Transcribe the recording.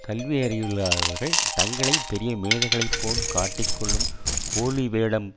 கல்வியறிவில்லாதவர்கள் தங்களை பெரிய மேதைகளைப் போல் காட்டிக் கொள்ளும் போலி வேடம்